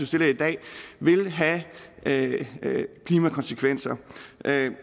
stiller i dag vil have klimakonsekvenser